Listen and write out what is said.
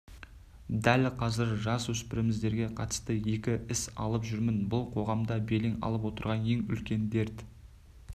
дәл қазір жасөспірімдерге қатысты екі іс алып жүрмін бұл қоғамда белең алып отырған ең үлкен дерт